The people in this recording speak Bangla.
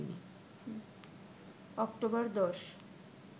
অক্টোবর ১০